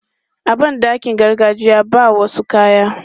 A ban ɗakin gargajiya, ba wasu kayan.